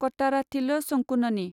कट्टाराथिल शंकुननि